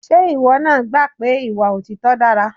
Ṣé ìwọ náà gbà pé ìwà òtítọ́ dára?